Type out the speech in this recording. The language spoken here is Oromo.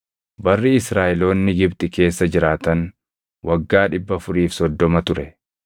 Barri Israaʼeloonni Gibxi keessa jiraatan waggaa 430 ture.